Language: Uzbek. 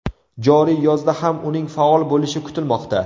Joriy yozda ham uning faol bo‘lishi kutilmoqda.